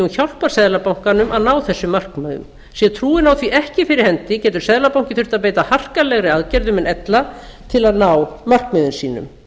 hjálpar seðlabankanum að ná þessum markmiðum sé trúin á því ekki fyrir hendi getur seðlabanki þurft að beita harkalegri aðgerðum en ella til að ná markmiðum sínum